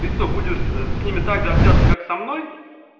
ты что будешь с ними также общаться как со мной